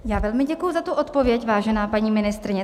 Já velmi děkuji za tu odpověď, vážená paní ministryně.